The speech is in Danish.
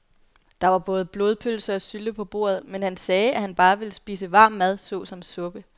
Der var både blodpølse og sylte på bordet, men han sagde, at han bare ville spise varm mad såsom suppe.